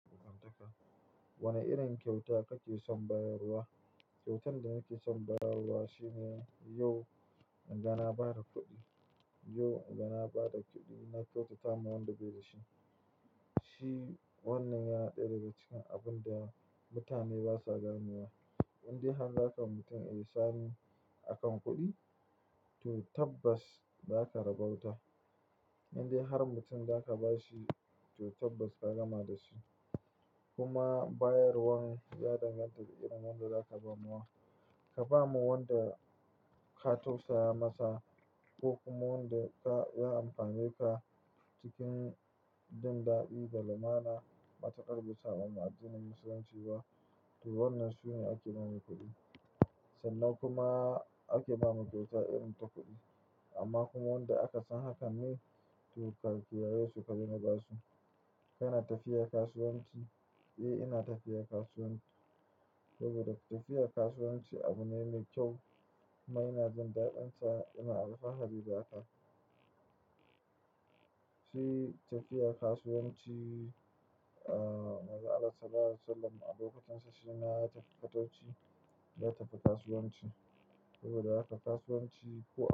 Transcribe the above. Wane irin kyauta kake son bayarwa? Kyautar da nake son bayarwa shine yau, in ga na ba da kuɗi, yau in ga na ba da kuɗi, na tausata ma wanda bai da shi. Shi wannan ya daɗe daga cikin abun da mutane basa gane wa. Indai har ka ga mutum a nishani akan kuɗi, to tabbas zaka rabauta. Indai har mutum za ka ba shi, to tabbas ka gama da shi. Kuma bayarwan ya danganta da irin wanda zaka bawa. Ka ba wa wanda ka tausaya masa ko kuma wanda ka, ya amfan ye ka cikin bin da'i da lamana, mataƙar bisanmu a addinin musulunci ba, to wannan sune ake bawa kuɗi. Sannan kuma ake bawa kyauta irin ta kuɗi. Amma kuma wanda aka san haka ne, to ka ƙiraye su ka je ma ba su. Kana tafiya kasuwanci? Eh ina tafiya kasuwanci. Saboda tafiya kasuwanci abu ne mai kyau. Kuma ina jin daɗin sa ina alfahari da haka. Shi tafiya kasuwanci ahh, Manzon Allah Sallallahu alaihi wa sallam a lokacinsa shima ya tafi fatauci ya tafi kasuwanci. Saboda haka kasuwanci ko a-